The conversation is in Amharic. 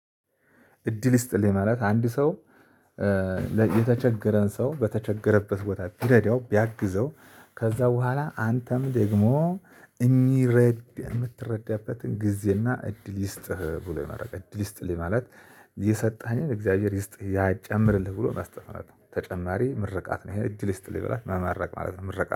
እድል ይስጥልኝ ማለት አንድ ሰው የተቸገረን ሰው በተቸገረበት ቦታ ቢረዳው ቢያግዘው ከዛ በኋላ አንተም ደግሞ እኚህ ረድ የምትረዳበትን ጊዜና እድል ይስጥህ ብሎ የማድረግ እድል ይስጥልኝ ማለት የሰጠኸን እግዚአብሔር ይስጥህ ያጨምርልህ ብሎ መስጥት ማለት ነው። ተጨማሪ ምርቃት ነው ይሄ እጅ ልስጥ ልበላት መማረቅ ማለት ነው። ምርቃት